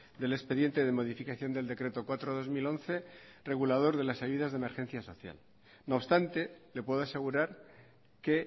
del expediente de modificación del decreto cuatro barra dos mil once regulador de las ayudas de emergencia social no obstante le puedo asegurar que